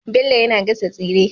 Bello yAna gasa tsire